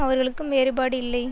அவர்களுக்கும் வேறுபாடு இல்லை